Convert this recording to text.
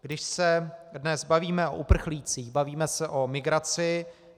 Když se dnes bavíme o uprchlících, bavíme se o migraci.